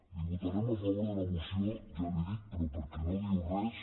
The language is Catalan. li votarem a favor de la moció ja l’hi dic però perquè no diu res